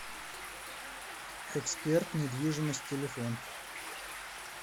эксперт недвижимость телефон